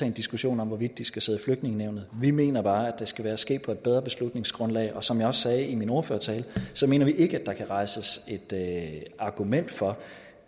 en diskussion om hvorvidt de skal sidde i flygtningenævnet vi mener bare at det skal ske på et bedre beslutningsgrundlag som jeg også sagde i min ordførertale mener vi ikke at der kan argumenteres for